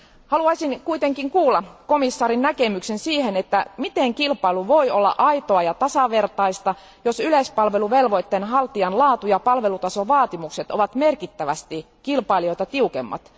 Haluaisin kuulla komissaarin näkemyksen siihen, että miten kilpailu voi olla aitoa ja tasavertaista, jos yleispalveluvelvoitteen haltijan laatu ja palvelutasovaatimukset ovat merkittävästi kilpailijoita tiukemmat?